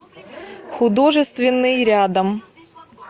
художественный рядом